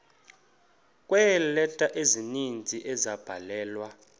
kweeleta ezininzi ezabhalelwa